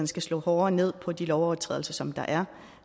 skal slå hårdere ned på de lovovertrædelser som der er